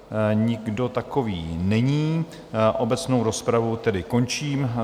Nikdo takový není, obecnou rozpravu tedy končím.